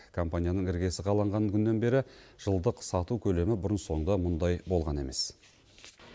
компанияның іргесі қаланған күннен бері жылдық сату көлемі бұрын соңды мұндай болған емес